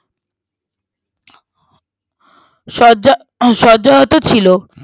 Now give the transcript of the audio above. শয্যা হম শয্যাহত ছিল